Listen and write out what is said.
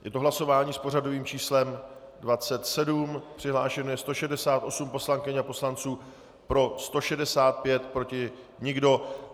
Je to hlasování s pořadovým číslem 27, přihlášeno je 168 poslankyň a poslanců, pro 165, proti nikdo.